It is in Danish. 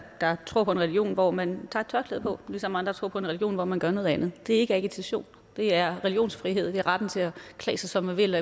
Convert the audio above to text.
tror på en religion hvor man tager et tørklæde på ligesom andre tror på en region hvor man gør noget andet det er ikke agitation det er religionsfrihed det er retten til at klæde sig som man vil